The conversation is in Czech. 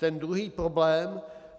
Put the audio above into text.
Ten druhý problém.